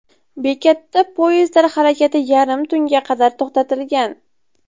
Bekatda poyezdlar harakati yarim tunga qadar to‘xtatilgan.